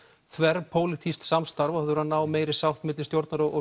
þverpólitískt samstarf og þurfa að ná meiri sátt milli stjórnar og